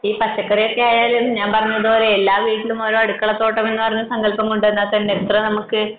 പക്ഷെ ഈ പച്ചക്കറി ഒക്കെ ആയാൽ ഞാൻ പറഞ്ഞപോലെ ഓരോ വീട്ടിലും ഒരു അടുക്കള തോട്ടം എന്ന സങ്കൽപം കൊണ്ടുവന്നാൽ തന്നെ എത്ര നമുക്ക്